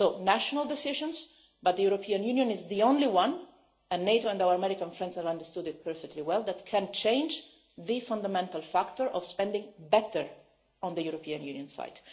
So, there are national decisions, but the European Union is the only one and NATO and our American friends have understood this perfectly well that can change the fundamental factor of spending better on the European Union side.